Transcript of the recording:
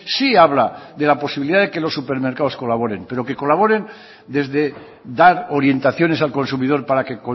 sí habla de la posibilidad de que los supermercados colaboren pero que colaboren desde dar orientaciones al consumidor para que